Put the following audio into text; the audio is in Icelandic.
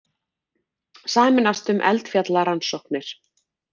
Sameinast um eldfjallarannsóknir